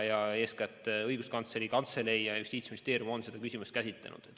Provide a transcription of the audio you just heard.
Ja eeskätt Õiguskantsleri Kantselei ja Justiitsministeerium on seda küsimust käsitlenud.